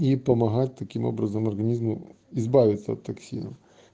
и помогать таким образом организму избавиться от токсинов